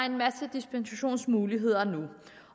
en masse dispensationsmuligheder